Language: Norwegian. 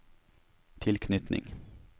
tilknytning